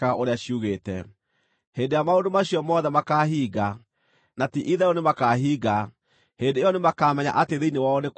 “Hĩndĩ ĩrĩa maũndũ macio mothe makaahinga, na ti-itherũ nĩmakahinga, hĩndĩ ĩyo nĩmakamenya atĩ thĩinĩ wao nĩ kwarĩ na mũnabii.”